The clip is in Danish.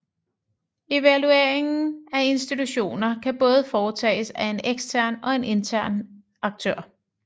Evalueringen af institutioner kan både foretages af en ekstern og en intern aktør